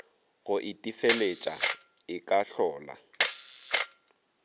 go itefeletša e ka hlola